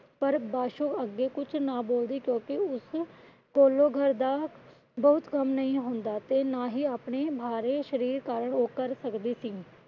ਪਰ ਪਾਸ਼ੋ ਅੱਗੇ ਕੁਛ ਨਾ ਬੋਲਦੀ। ਕਿਉਂਕਿ ਉਸ ਕੋਲੋਂ ਘਰ ਦਾ ਬਹੁਤ ਕੰਮ ਨਹੀਂ ਹੁੰਦਾ। ਤੇ ਨਾ ਹੂ ਆਪਣੇ ਭਾਰੀ ਸ਼ਰੀਰ ਕਾਰਨ ਉਹ ਕਰ ਸਕਦੀ ਸੀ।